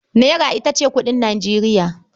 Naira ita ce kuɗin Nijeriya.